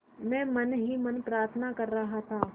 मैं मन ही मन प्रार्थना कर रहा था